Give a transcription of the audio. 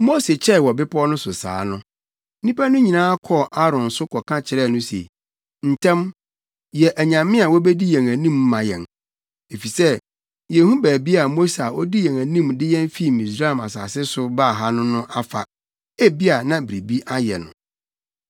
Mose kyɛe wɔ bepɔw no so saa no, nnipa no nyinaa kɔɔ Aaron so kɔka kyerɛɛ no se, “Ntɛm, yɛ anyame a wobedi yɛn anim ma yɛn, efisɛ yenhu baabi a Mose a odii yɛn anim de yɛn fi Misraim asase so baa ha no afa; ebia na biribi ayɛ no.”